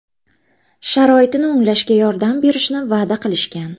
Sharoitini o‘nglashga yordam berishni va’da qilishgan.